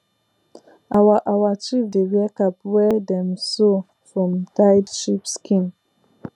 our our chief dey wear cap wey dem sew from dyed sheep skin